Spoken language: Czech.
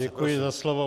Děkuji za slovo.